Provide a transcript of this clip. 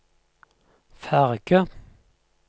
ferge